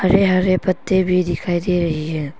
ये हरे पत्ते भी दिखाई दे रही है।